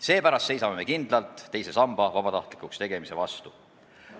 Seepärast seisame me kindlalt teise samba vabatahtlikuks tegemise vastu.